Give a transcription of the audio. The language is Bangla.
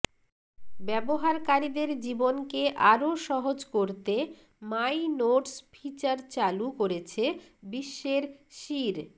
ব্যবহারকারীদের জীবনকে আরও সহজ করতে মাই নোটস ফিচার চালু করেছে বিশ্বের শীর্